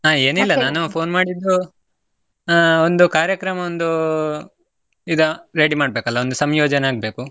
ಹಾ ಏನಿಲ್ಲ ನಾನು phone ಮಾಡಿದ್ದು, ಆಹ್ ಒಂದು ಕಾರ್ಯಕ್ರಮ ಒಂದು ಇದು ready ಮಾಡ್ಬೇಕಲ್ಲ, ಒಂದು ಸಂಯೋಜನೆ ಆಗ್ಬೇಕು.